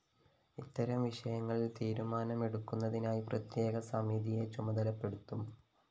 ഇത്തരം വിഷയങ്ങളില്‍ തീരുമാനമെടുക്കുന്നതിനായി പ്രത്യേക സമിതിയെ ചുമതലപ്പെടുത്തും